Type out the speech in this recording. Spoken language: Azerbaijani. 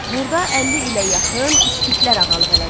Burda 50 ilə yaxın iskitlər ağalıq elədi.